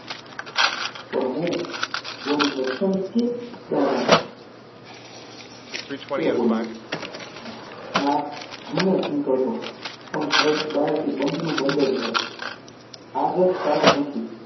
પણ હું જક્ષણી કે દાડાની? તે બોલ્યો માં હંમેશ નીકળતો, પણ ઘર બહારથી બંધ, આજ જ તાળું નથી,